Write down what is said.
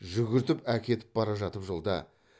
жүгіртіп әкетіп бара жатып жолда